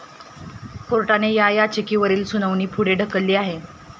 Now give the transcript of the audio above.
कोर्टानं या याचिकांवरील सुनावणी पुढे ढकलली आहे.